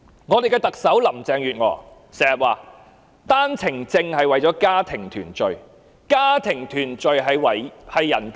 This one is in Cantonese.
我們的特首林鄭月娥經常說單程證的安排是為了家庭團聚，而家庭團聚是人權。